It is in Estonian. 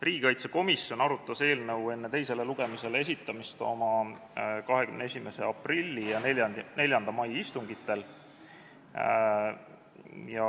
Riigikaitsekomisjon arutas eelnõu enne teisele lugemisele esitamist oma 21. aprilli ja 4. mai istungil.